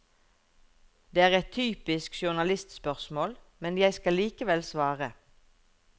Det er et typisk journalistspørsmål, men jeg skal likevel svare.